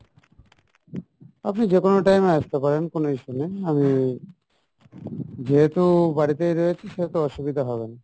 আপনি যে কোনো time এ আসতে পারেন কোনো issue নেই আমি যেহেতু বাড়িতে রয়েছি সেহেতু অসুবিধা হবেনা।